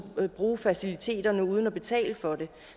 og bruge faciliteterne uden at betale for det